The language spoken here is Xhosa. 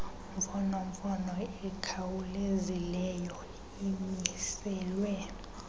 mfonomfono ikhawulezileyo imiselwe